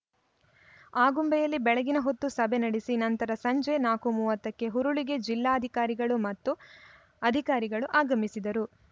ಆಗುಂಬೆಯಲ್ಲಿ ಬೆಳಗಿನ ಹೊತ್ತು ಸಭೆ ನೆಡೆಸಿದ ನಂತರ ಸಂಜೆ ನಾಕು ಮೂವತ್ತ ಕ್ಕೆ ಹುರುಳಿಗೆ ಜಿಲ್ಲಾಧಿಕಾರಿಗಳು ಮತ್ತು ಅಧಿಕಾರಿಗಳು ಆಗಮಿಸಿದರು